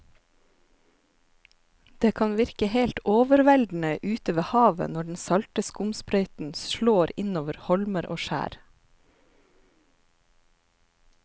Det kan virke helt overveldende ute ved havet når den salte skumsprøyten slår innover holmer og skjær.